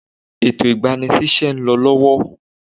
Ètò igbani sí ise ń lọ lọ́wọ́.